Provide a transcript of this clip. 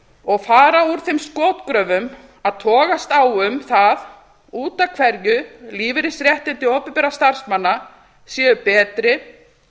og fara úr þeim skotgröfum að togast á um það út af hverju lífeyrisréttindi opinberra starfsmanna séu betri